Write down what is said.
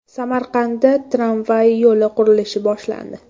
Samarqandda tramvay yo‘li qurilishi boshlandi.